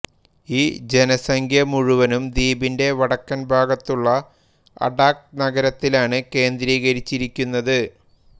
ഈ ജനസംഖ്യ മുഴുവനും ദ്വീപിന്റെ വടക്കൻ ഭാഗത്തുള്ള അഡാക് നഗരത്തിലാണ് കേന്ദ്രീകരിച്ചിരിക്കുന്നത്